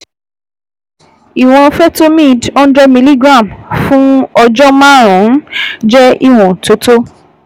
Ìwọ̀n Fertomid hundred miligram fún ọjọ́ márùn-ún jẹ́ ìwọ̀n tó tó